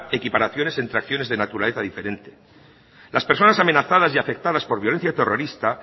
equiparaciones entre acciones de naturaleza diferente las personas amenazadas y afectadas por violencia terrorista